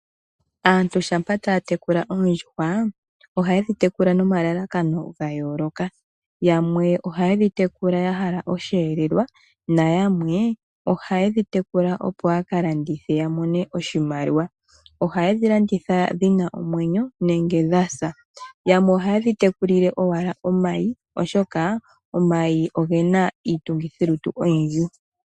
Aantu shampa taya tekula oondjuhwa, ohaye dhi tekula nomalalakano ga yooloka. Yamwe ohaye dhi tekula ya hala oshihelelwa na yamwe ohaye dhi tekula opo ya ka landithe ya mone oshimaliwa. Ohaye dhi landitha dhina omwenyo nenge dha sa. Yamwe ohaye dhi tekulile owala omayi, oshoka omayi ogena iitungithilutu oyindji.